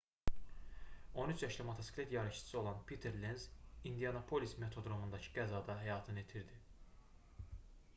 13 yaşlı motosiklet yarışçısı olan piter lenz i̇ndianapolis motodromundakı qəzada həyatını itirdi